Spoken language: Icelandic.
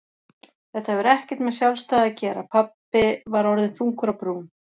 Þetta hefur ekkert með sjálfstæði að gera pabbi var orðinn þungur á brún.